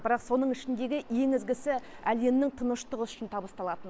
бірақ соның ішіндегі ең ізгісі әлемнің тыныштығы үшін табысталатыны